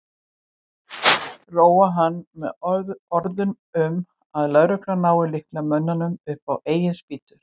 Róa hann með orðum um að lögreglan nái líklega mönnunum upp á eigin spýtur.